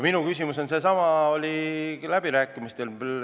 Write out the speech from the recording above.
Minu küsimus on seesama, mis ta oli läbirääkimistel.